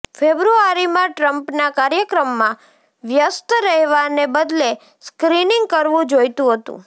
ફેબ્રુઆરીમાં ટ્રમ્પના કાર્યક્રમમાં વ્યસ્ત રહેવાને બદલે સ્ક્રિનિંગ કરવું જોઈતું હતું